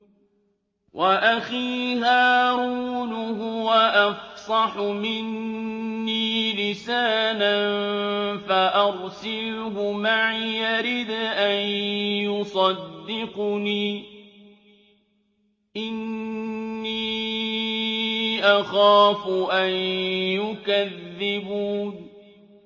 وَأَخِي هَارُونُ هُوَ أَفْصَحُ مِنِّي لِسَانًا فَأَرْسِلْهُ مَعِيَ رِدْءًا يُصَدِّقُنِي ۖ إِنِّي أَخَافُ أَن يُكَذِّبُونِ